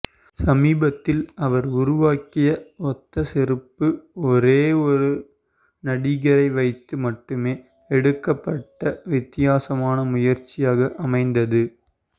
சமீபத்தில் அவர் உருவாக்கிய ஒத்த செருப்பு ஒரே ஒரு நடிகரை வைத்து மட்டுமே எடுக்கப்பட்ட வித்தியாசமான முயற்சியாக அமைந்தது